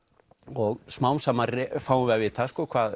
og smám saman fáum við að vita